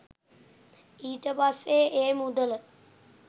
ඊට පස්සේ ඒ මුදල